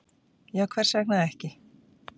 Já, hvers vegna ekki?